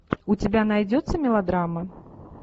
у тебя найдется мелодрама